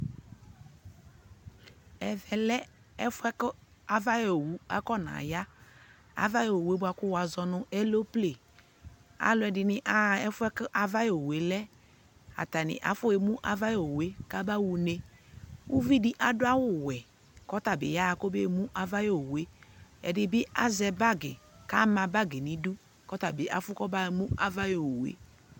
Ɛfɛ lɛ ɛfʋɛ kʋ avay'owu akɔna ya : avay'owue bʋa kʋ wʋazɔ nʋ elomple Alʋɛdɩnɩ aɣa ɛfʋɛ kʋ avayowue lɛ Atanɩ afɔemu avayowue kaba ɣ'une Uvidɩ adʋ awʋwɛ k'ɔta bɩ yaɣa k'omeemu avayowue ; ɛdɩ bɩ azɛbagɩ k'ama bagɩ n'idu , k'ɔtabɩ afʋ k'omeemu avayowue